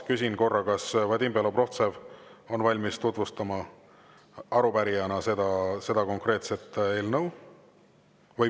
Küsin korra, kas Vadim Belobrovtsev on valmis arupärijana seda eelnõu tutvustama.